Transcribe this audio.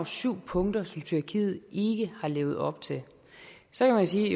syv punkter som tyrkiet ikke har levet op til så kan man sige